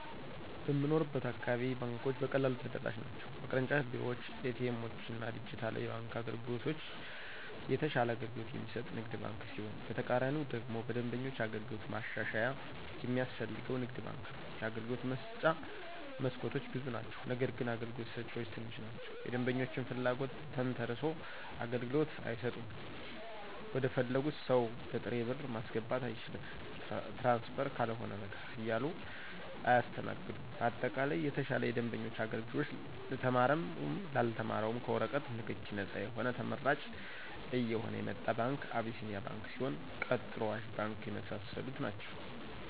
በምንኖርበት አካባቢ ባንኮች በቀላሉ ተደራሽ ናቸው በቅርንጫፍ ቤሮዎች :ኤቲኤሞችና ዲጅታል የባንክ መተግበሪያዎች የተሻለ አገልግሎት የሚሰጥ ንግድ ባንክ ሲሆን በተቃራኒው ደግሞ በደንበኞች አገልግሎት ማሻሻያ የሚያስፈልገው ንግድ ባንክ ነው የአገልግሎት መስጫ መስኮቶች ብዙ ናቸው ነገርግን አገልግሎት ሰጭዎች ትንሽ ናቸው የደንበኞችን ፍለጎት ተንተሰርሶ አገልግሎት አይሰጡም ወደፈለጉት ሰው በጥሬ ብር ማስገባት አይቻልም ትራንስፈር ካልሆነ በቀር እያሉ አያሰተናግዱም በአጠቃላይ የተሻለ የደንበኞች አገልግሎት ለተማረውም ላልተማረውም ከወረቀት ነክኪ ነጻ የሆነ ተመራጭ እየሆነ የመጣ ባንክ አቢሴኒያ ባንክ ሲሆን ቀጥሎ አዋሽ ባንክ የመሳሰሉት ናቸው።